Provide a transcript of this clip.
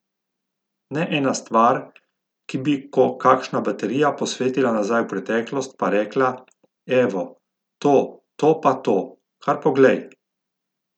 Ne ena stvar, ki bi ko kakšna baterija posvetila nazaj v preteklost pa rekla, evo, to, to pa to, kar poglej.